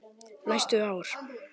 Næstu ár.